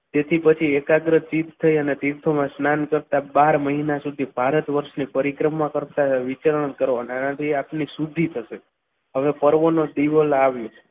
જેથી પછી એકાગ્ર સિદ્ધ થઈ અને તીર્થોમાં સ્નાન કરતા બાર મહિના સુધી ભારત વર્ષની પરિક્રમા કરતા વિચરણ કરો આનાથી આટલી શુદ્ધિ થશે હવે કોનો દીવો લાવ્યો.